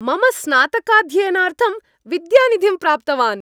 मम स्नातकाध्ययनार्थं विद्यानिधिं प्राप्तवान्।